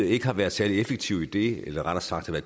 ikke har været særlig effektive i det eller rettere sagt har